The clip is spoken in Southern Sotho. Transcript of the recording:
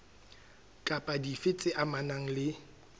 kapa dife tse amanang le